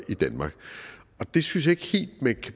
i danmark og det synes jeg ikke helt man